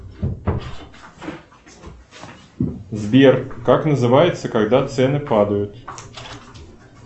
сбер как называется когда цены падают